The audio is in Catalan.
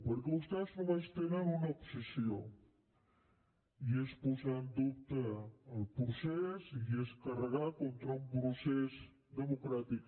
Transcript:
perquè vostès només tenen una obsessió i és posar en dubte el procés i és carregar contra un procés democràtic